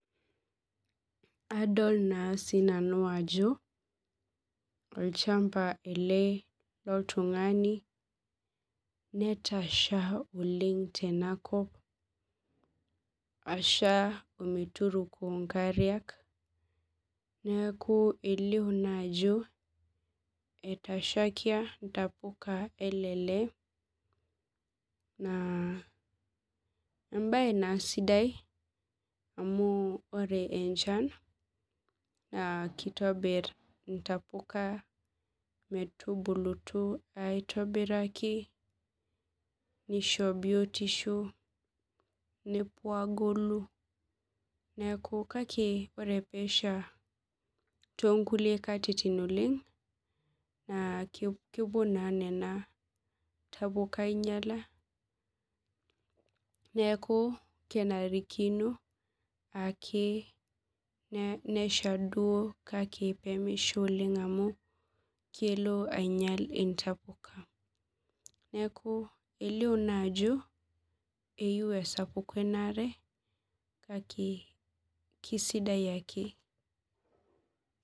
Adol naa sii nanu ajo olchamba ele loltung'ani netasha tenakop asha ometuroko inkariak neeku elio ajo etashaikia intapuka ele lee neeku Adol naa ajo embaye naa sidai amu ore enchan keitobir intapuka metubulutu aitobiraki neisho biotisho nepuo aagolu kake ore peesha toonkulie katitin nepuo nena tapuka ainyiala kake kenarikino duo peemesha oleng amu kelo ainyial intapuka neeku elio naa ejo eyieiu esapuku enaare kake keisidai ake